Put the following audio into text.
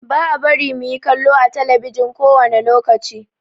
Ba a bari mu yi kallo ã telebijin kowane lokaci.